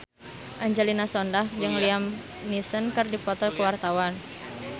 Angelina Sondakh jeung Liam Neeson keur dipoto ku wartawan